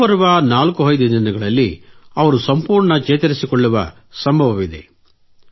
ಮುಂಬರುವ 45 ದಿನಗಳಲ್ಲಿ ಅವರು ಸಂಪೂರ್ಣ ಚೇತರಿಸಿಕೊಳ್ಳುವ ಸಂಭವವಿದೆ